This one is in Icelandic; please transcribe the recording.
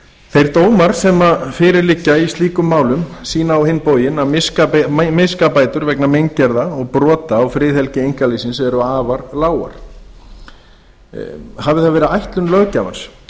þeir dómar sem fyrir liggja í slíkum málum sýna á hinn bóginn að miskabætur vegna meingerða og brota á friðhelgi einkalífsins eru afar lágar hafi það verið ætlun löggjafans